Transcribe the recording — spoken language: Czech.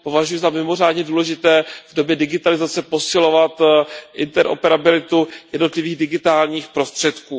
Považuji za mimořádně důležité v době digitalizace posilovat interoperabilitu jednotlivých digitálních prostředků.